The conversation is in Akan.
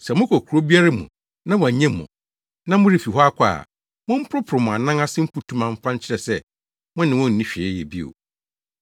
Sɛ mokɔ kurow biara mu na wɔannye mo, na morefi hɔ akɔ a, momporoporow mo anan ase mfutuma mfa nkyerɛ sɛ, mo ne wɔn nni hwee yɛ bio.”